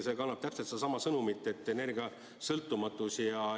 See kannab täpselt sedasama sõnumit, et vaja on energiasõltumatust.